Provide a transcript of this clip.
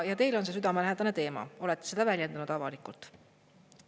Teile on see südamelähedane teema, olete seda väljendanud avalikult.